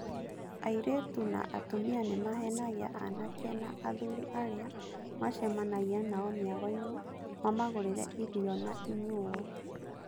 Airĩtu na atumia nĩmahenagia anake na athuri arĩa macemanagia nao mĩagoinĩ mamagũrĩre irio na inyuuo.